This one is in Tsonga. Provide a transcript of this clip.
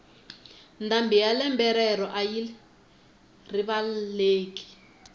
ndhambi ya lembe rero ayi rivaleki